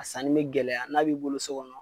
A sanni bɛ gɛlɛya n'a b'i bolo so kɔnɔ